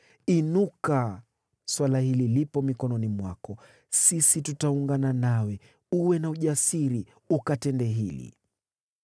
Inuka, suala hili lipo mikononi mwako. Sisi tutaungana nawe, uwe na ujasiri ukatende hili.”